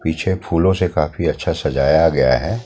पीछे फूलों से काफी अच्छा सजाया गया है।